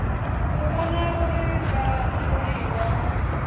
u vhona uri vhatholiwa vha